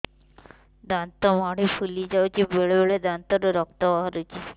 ଦାନ୍ତ ମାଢ଼ି ଫୁଲି ଯାଉଛି ବେଳେବେଳେ ଦାନ୍ତରୁ ରକ୍ତ ବାହାରୁଛି